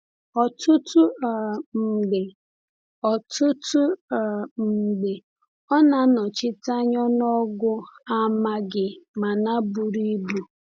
Ọtụtụ um mgbe Ọtụtụ um mgbe ọ na-anọchite anya ọnụọgụ amaghị mana buru ibu.